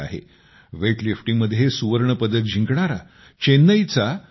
weight लिफ्टिंगमध्ये सुवर्ण पदक जिंकणारा चेन्नईचा एल